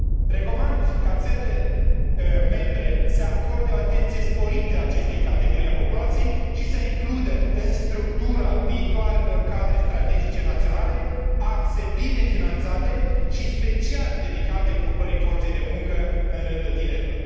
Recomand ca țările membre să acorde o atenție sporită acestei categorii a populației și să includă în structura viitoarelor cadre strategice naționale axe bine finanțate și special dedicate ocupării forței de muncă în rândul tinerilor.